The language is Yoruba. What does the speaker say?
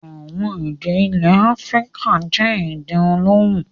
Àwọn èdè ilẹ̀ Áfíríkà jẹ́ èdè olóhùn.